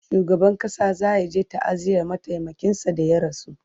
shugaban ƙasa zayaje ta'aziyar mataimakin sa da ya rasu